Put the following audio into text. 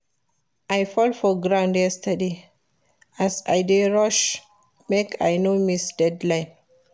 I fall for ground yesterday as I dey rush make I no miss deadline